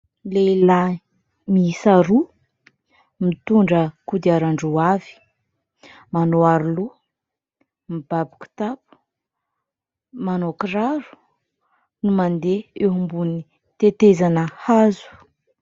Lehilahy miisa roa : mitondra kodiaran-droa avy, manao aroloha, mibaby kitapo, manao kiraro, no mandeha eo ambony tetezana hazo.